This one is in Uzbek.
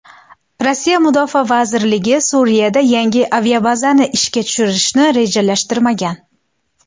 Rossiya mudofaa vazirligi Suriyada yangi aviabazani ishga tushirishni rejalashtirmagan.